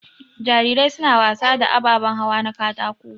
Jarirai suna wasa da ababan hawa na katako.